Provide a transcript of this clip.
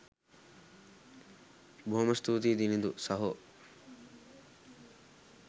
බොහොම ස්තූතියි දිනිඳු සහෝ